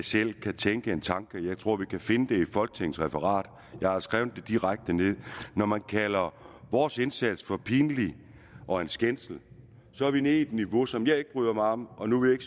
selv kan tænke en tanke jeg tror vi kan finde det i folketingets referat jeg har skrevet det direkte ned når man kalder vores indsats for pinlig og en skændsel så er vi nede på et niveau som jeg ikke bryder mig om om nu vil jeg